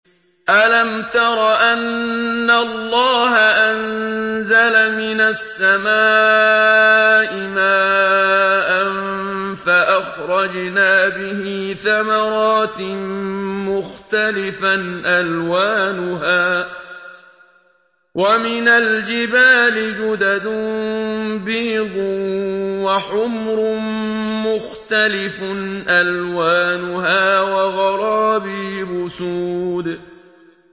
أَلَمْ تَرَ أَنَّ اللَّهَ أَنزَلَ مِنَ السَّمَاءِ مَاءً فَأَخْرَجْنَا بِهِ ثَمَرَاتٍ مُّخْتَلِفًا أَلْوَانُهَا ۚ وَمِنَ الْجِبَالِ جُدَدٌ بِيضٌ وَحُمْرٌ مُّخْتَلِفٌ أَلْوَانُهَا وَغَرَابِيبُ سُودٌ